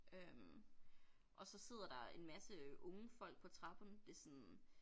Øh og så sidder der en masse unge folk på trappen det sådan